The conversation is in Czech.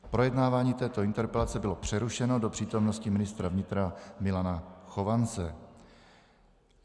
Projednávání této interpelace bylo přerušeno do přítomnosti ministra vnitra Milana Chovance.